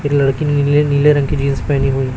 एक लड़की नीले नीले रंग की जींस पेहनी हुई--